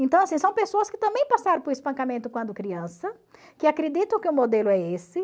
Então, assim, são pessoas que também passaram por espancamento quando criança, que acreditam que o modelo é esse.